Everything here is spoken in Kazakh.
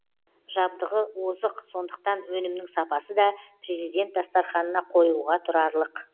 жабдығы озық сондықтан өнімнің сапасы да президент дастарханына қоюға тұрарлық